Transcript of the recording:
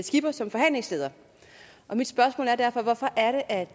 skipper som forhandlingsleder mit spørgsmål er derfor hvorfor er det at